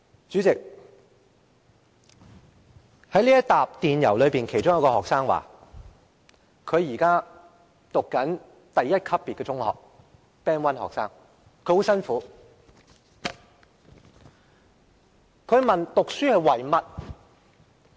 主席，在這些電郵中，其中一個學生表示自己正就讀第一級別的中學，即他是 "Band 1學生"。